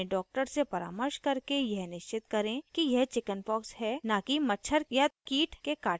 अपने doctor से परामर्श करके यह निश्चित करें कि यह चिकिन्पॉक्स है न कि मच्छर/कीट के काटने का निशान